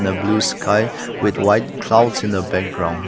the blue sky with white clouds in the background.